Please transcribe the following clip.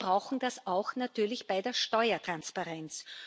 Wir brauchen das natürlich auch bei der Steuertransparenz.